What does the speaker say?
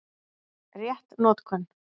Rétt notkun